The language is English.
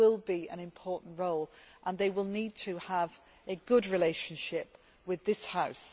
It will be an important role, and the appointee will need to have a good relationship with this House.